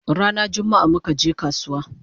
Rana jummaa muka je kasuwa